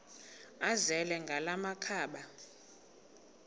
azele ngala makhaba